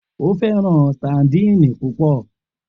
O fẹran sadíìnì pupọ.